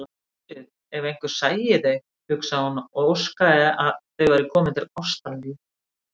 Guð, ef einhver sæi þau, hugsaði hún og óskaði að þau væru komin til Ástralíu.